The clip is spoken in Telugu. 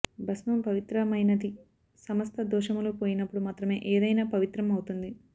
భస్మం పవిత్రమయినది సమస్త దోషములు పోయినపుడు మాత్రమే ఏదయినా పవిత్రం అవుతుంది